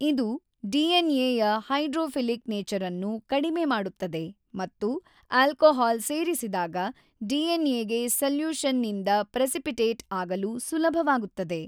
ಇದು ಡಿ.ಎನ್.ಎ ಯ hydrophilic nature ಅನ್ನು ಕಡಿಮೆ ಮಾಡುತ್ತದೆ ಮತ್ತು ಆಲ್ಕೋಹಾಲ್ ಸೇರಿಸಿದಾಗ ಡಿ.ಎನ್.ಎಗೆ ಸೊಲ್ಯೂಶನ್ ನಿಂದ ಪ್ರೆಸಿಪಿಟೇಟ್ ಆಗಲು ಸುಲಭವಾಗುತ್ತದೆ.